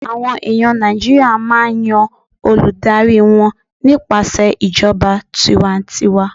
àwọn eyan Naijiria ma n Yan Olùdarí wan nípasẹ ìjọba tiwantiwa n